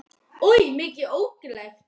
Oj, mikið er þetta ógirnilegt!